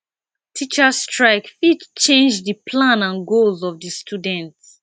teachers strike fit change di plan and goals of di student